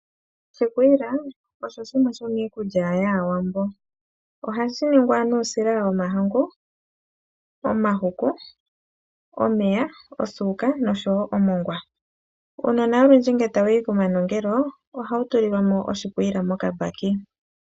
Oshikwiila osho shimwe shomi kulya yaawambo ohashi ningwa nuusila womahangu, omahuku, omeya, osuuka nomongwa. Uunona olundji ngele tawu yi komanongelo ohawu tulilwa mo oshikwila mokabaki.